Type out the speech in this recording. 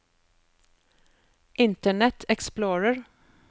internet explorer